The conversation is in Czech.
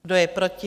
Kdo je proti?